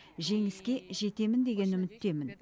жеңіске жетемін деген үміттемін